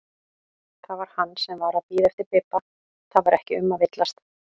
Það var hann sem var að bíða eftir Bibba, það var ekki um að villast!